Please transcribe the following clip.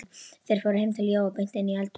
Þeir fóru heim til Jóa og beint inn í eldhús.